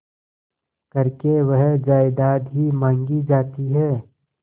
करके वह जायदाद ही मॉँगी जाती है